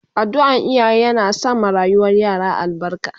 Addu'an iyaye yana sa ma rayuwar yara albarka